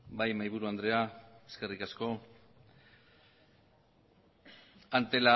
bai mahaiburu andrea eskerrik asko